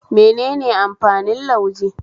Menene amfanin lauje?